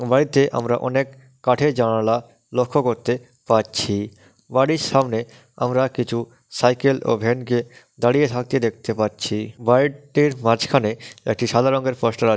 বাড়িতে আমরা অনেক কাঠের জানালা লক্ষ্য করতে পারছি বাড়ির সামনে আমরা কিছু সাইকেল ও ভ্যান -কে দাঁড়িয়ে থাকতে দেখতে পারছি। বাড়িটির মাঝখানে একটি সাদা রঙের পোস্টার আ--